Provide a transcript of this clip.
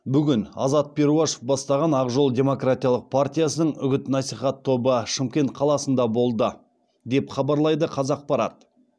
бүгін азат перуашев бастаған ақ жол демократиялық партиясының үгіт насихат тобы шымкент қаласында болды деп хабарлайды қазақпарат